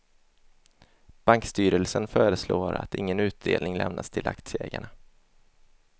Bankstyrelsen föreslår att ingen utdelning lämnas till aktieägarna.